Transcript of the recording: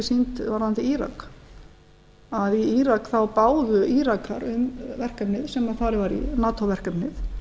sýnd varðandi írak í írak báðu írakar um verkefni sem farið var í nato verkefni